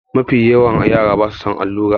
Mafiyawan yara ba su son allura.